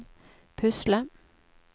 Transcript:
pusle